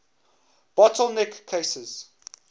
bottle neck cases